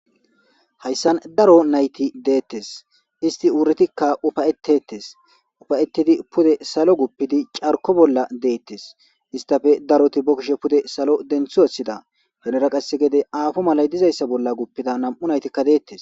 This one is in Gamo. hayssan daro nayti deettes isti wuritikka ufayetettes ufayettidi pude salo guppidi carko bolla deettes istafe daroti bokkishe pude salo dentho esida henera qasse gede aafo malay dizayssa bolla guppida nam7u naytikka deettes